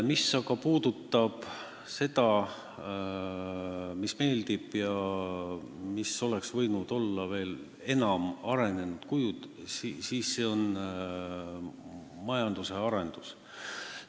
Mis aga puudutab seda, mis meeldib ja mis oleks võinud olla veel enam arendatud kujul, siis see on majanduse arendamine.